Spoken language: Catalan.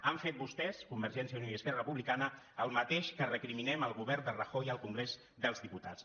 han fet vostès convergència i unió i esquerra republicana el mateix que recriminem al govern de rajoy al congrés dels diputats